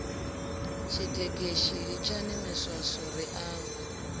tshitekeshi litshani miswaswo ri ambe